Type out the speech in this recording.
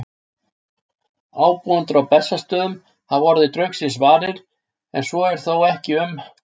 Ábúendur á Bessastöðum hafa orðið draugsins varir, en svo er þó ekki um